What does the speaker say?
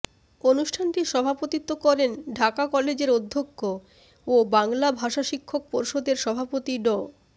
অনুষ্ঠানটি সভাপতিত্ব করেন ঢাকা কলেজের অধ্যক্ষ ও বাংলা ভাষা শিক্ষক পর্ষদের সভাপতি ড